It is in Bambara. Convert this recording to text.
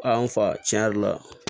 A an fa tiɲɛ yɛrɛ la